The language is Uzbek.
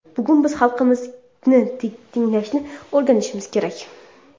Bugun biz xalqimizni tinglashni o‘rganishimiz kerak.